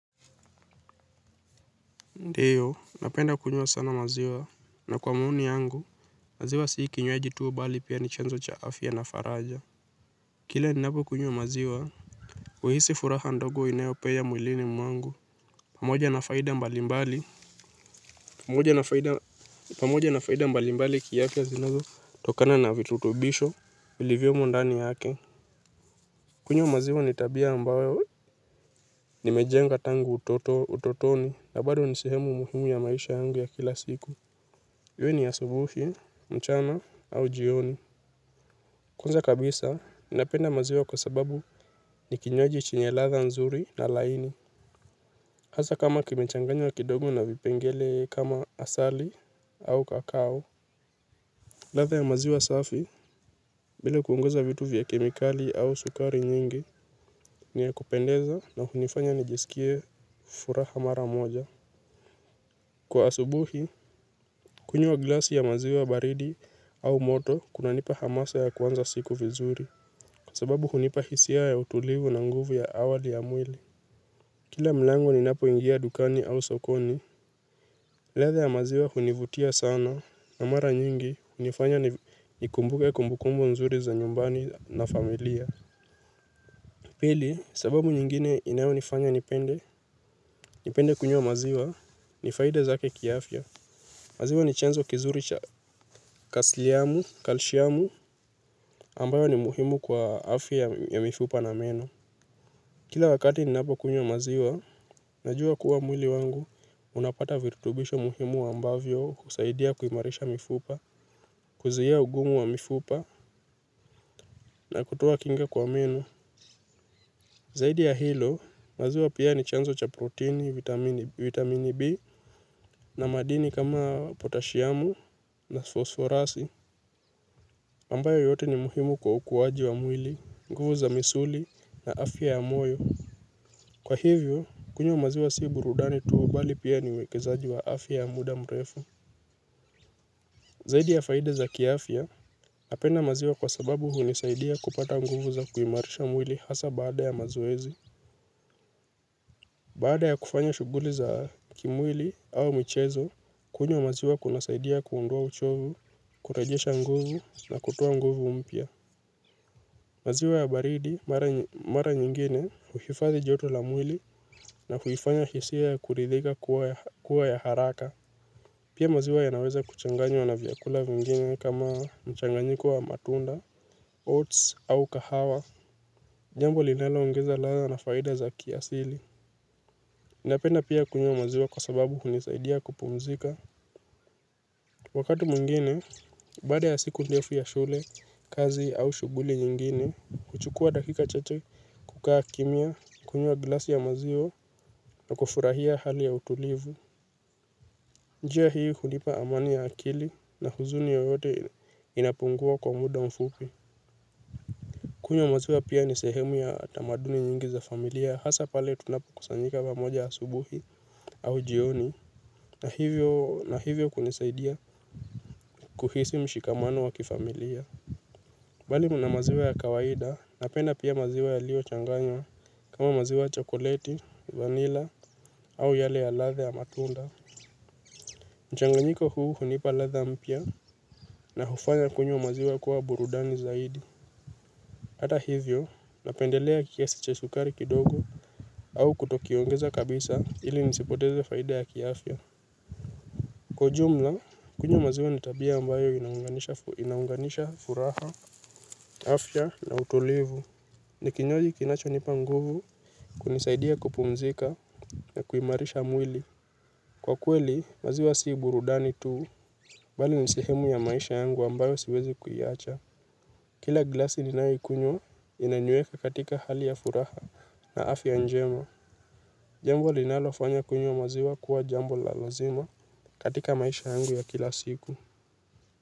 Ndiyo napenda kunywa sana maziwa na kwa maoni yangu maziwa si kinywaji tu bali pia ni chanzo cha afya na faraja kila ninapo kunywa maziwa huhisi furaha ndogo inayo penya mwilini mwangu pamoja na faida mbali mbali pamoja na faida mbali mbali kiafya zinazo tokana na virutubisho vilivyomo ndani yake kunywa maziwa ni tabia ambayo nimejenga tangu utotoni na bado ni sehemu muhimu ya maisha yangu ya kila siku iwe ni asubuhi, mchana au jioni. Kwanza kabisa, napenda maziwa kwa sababu ni kinywaji chenye ladha nzuri na laini. Hasaa kama kimechanganywa kidogo na vipengele kama asali au kakau. Ladha ya maziwa safi, bila kuongeza vitu vya kemikali au sukari nyingi, ni ya kupendeza na hunifanya nijisikie furaha mara moja. Kwa asubuhi, kunywa glasi ya maziwa baridi au moto, kunanipa hamasa ya kuanza siku vizuri. Sababu hunipa hisia ya utulivu na nguvu ya awali ya mwili. Hasaa kama kimechanganywa kidogo na vipengele kama asali au kakao. Ladha ya maziwa safi, bila kuongeza vitu vya kemikali au sukari nyingi, ni ya kupendeza na hunifanya nijisikie furaha mara moja. Kwa asubuhi, kunyua glasi ya maziwa baridi au moto, kuna nipa hamasa ya kwanza siku vizuri. Pili, sababu nyingine inayo nifanya nipende. Nipende kunywa maziwa ni faida zake kiafya. Maziwa ni chanzo kizuri cha kalishamu ambayo ni muhimu kwa afya ya mifupa na meno. Kila wakati ninapo kunywa maziwa, najua kuwa mwili wangu, unapata virutubisho muhimu ambavyo husaidia kuimarisha mifupa, kuzuia ugumu wa mifupa, na kutoa kinga kwa meno. Zaidi ya hilo, maziwa pia ni chanzo cha proteini, vitamini B, na madini kama potashiamu na fosforasi, ambayo yote ni muhimu kwa ukuwaji wa mwili, nguvu za misuli na afya ya moyo. Kwa hivyo, kunywa maziwa si burudani tu bali pia ni uwekezaji wa afya ya muda mrefu. Zaidi ya faida za kiafya, napenda maziwa kwa sababu hunisaidia kupata nguvu za kuimarisha mwili hasa baada ya mazoezi. Baada ya kufanya shughuli za kimwili au mchezo, kunywa maziwa kuna saidia kuondoa uchovu, kurejesha nguvu na kutoa nguvu mpya. Maziwa ya baridi, mara nyingine, huifadhi joto la mwili na huifanya hisia ya kuridhika kuwa ya haraka. Pia maziwa yanaweza kuchanganywa na vyakula vingine kama mchanganyiko wa matunda, oats au kahawa. Jambo linalo ongeza ladha na faida za kiasili. Napenda pia kunywa maziwa kwa sababu hunisaidia kupumzika. Wakati mwingine, baada ya siku ndefu ya shule, kazi au shughuli nyingine, huchukua dakika chache kukaa kimya, kunywa glasi ya maziwa na kufurahia hali ya utulivu. Njia hii hunipa amani ya akili na huzuni yoyote inapungua kwa muda mfupi. Kunywa maziwa pia ni sehemu ya tamaduni nyingi za familia, hasa pale tunapo kusanyika pamoja asubuhi au jioni, na hivyo kunisaidia kuhisi mshikamano wa kifamilia. Mbali na maziwa ya kawaida napenda pia maziwa yaliyochanganywa kama maziwa ya chokoleti, vanila au yale ya ladha ya matunda. Mchanganyiko huu hunipa ladha mpya na hufanya kunywa maziwa kuwa burudani zaidi. Hata hivyo napendelea kiasi cha sukari kidogo au kuto kiongeza kabisa ili nisipoteze faida ya kiafya. Kwa ujumla kunywa maziwa ni tabia ambayo inaunganisha furaha, afya na utulivu. Ni kinywaji kinacho nipa nguvu kunisaidia kupumzika na kuimarisha mwili. Kwa kweli maziwa si burudani tu bali ni sehemu ya maisha yangu ambayo siwezi kuiacha. Kila glasi ninayokunywa inaniweka katika hali ya furaha na afya njema. Jambo linalofanya kunywa maziwa kuwa jambo la lazima katika maisha yangu ya kila siku.